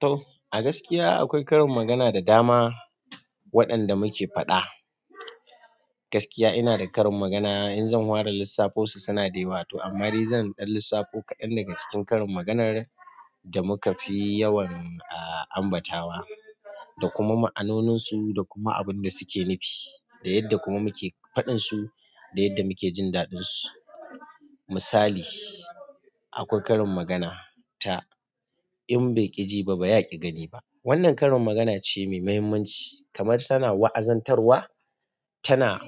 To, a gaskiya akwai karin magana da dama waɗanda muke faɗa. Gaskiya ina da karin magana, in zan ware lissafosu suna da yawa to amma zan ɗan lissafu kaɗan daga cikin karin maganar da muka fi yawan ambatawa da kuma ma'anonin su da kuma abin da suke nufi. Da yadda kuma muke faɗin su da yadda muke jin daɗin su. Misali, akwai karin magana ta "In bai ƙi ji ba, ba yaƙi gani ba". Wannan karin magana ce mai muhimmanci kamar tana wa'azantarwa, tana